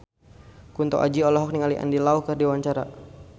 Kunto Aji olohok ningali Andy Lau keur diwawancara